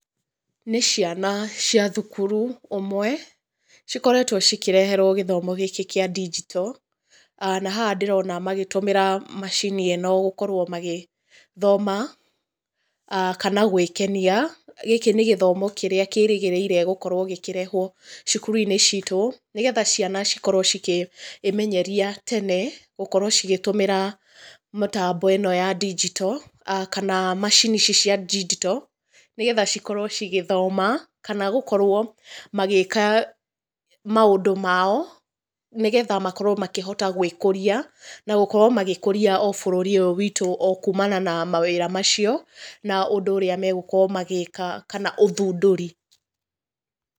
Nĩ ciana cia thukiru, ũmwe, cikoretũo cikĩreherũo gĩthomo gĩkĩ kĩa digital, na haha ndĩrona magĩtũmĩra macini ĩno gũkorũo magĩ, thoma, kana gwĩkenia, gĩkĩ nĩ gĩthomo kĩrĩa kĩrĩgĩrĩire gũkorwo gĩkĩrehwo, cũkuruinĩ citũ, nĩgetha ciana cikorũo cikĩ, ĩmenyeria tene, gũkorũo cigĩtũmĩra mĩtambo ĩno ya digital, kana macini ici cia digital, nĩgetha cikorũo cigĩthoma, kana gũkorũo magĩka maũndũ mao, nĩgetha makorwo makĩhota gwĩkũria, na gũkorũo magĩkũria o bũrũri ũyũ witũ o kumana na mawĩra macio, na ũndũ ũrĩa magũkorwo magĩka kana ũthundũri.